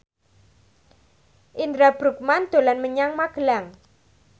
Indra Bruggman dolan menyang Magelang